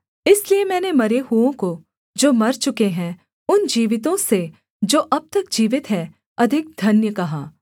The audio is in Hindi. इसलिए मैंने मरे हुओं को जो मर चुके हैं उन जीवितों से जो अब तक जीवित हैं अधिक धन्य कहा